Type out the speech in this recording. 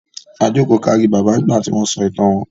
A jókòó kárí Bàbá nígbà tí wọ́n sọ ìtàn wọn.